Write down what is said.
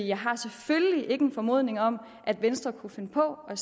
jeg har selvfølgelig ikke en formodning om at venstre kunne finde på at